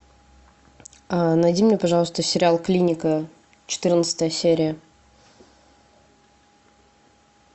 найди мне пожалуйста сериал клиника четырнадцатая серия